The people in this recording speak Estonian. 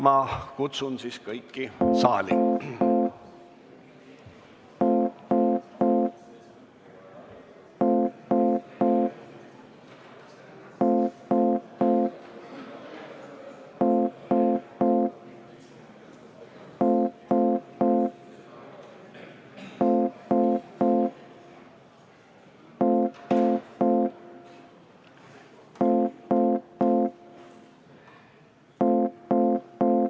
Ma kutsun siis kõik saali.